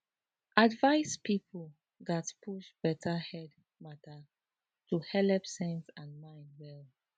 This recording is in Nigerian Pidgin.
advice people gatz push better head matter to helep sense and mind well